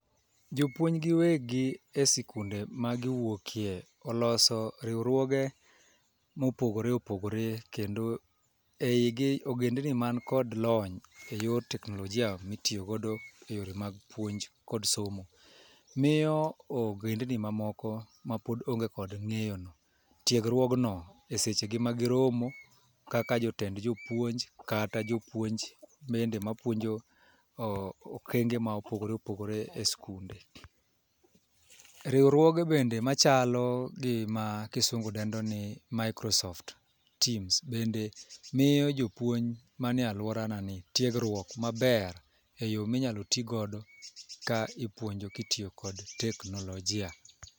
Jopuonj giwegi e sikunde magiwoke oloso riwruoge mopogore opogore kendo e igi ogendini man kod lony e yor teknolojia mitiyo godo e yore mag puonj kod somo, miyo ogendini mamoko mapod onge kod ng'eyo no tiegruogno e seche go ma giromo kaka jotend jopuonj kata jopuonj ma puonjo e okengo mopogore opogore e skunde . Riwruoge bende machalo gi ma kisungu dendo ni microsoft teams bende miyo jopuonj mane aluorana tiegruok maber eyoo minya tii godo ka ipuojno ka itiyo kod teknolojia